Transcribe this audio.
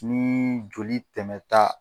Ni joli tɛmɛ ta